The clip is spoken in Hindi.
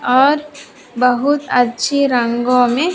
और बहुत अच्छी रंगों में --